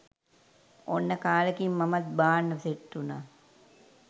ඔන්න කාලෙකින් මමත් බාන්න සෙට් උනා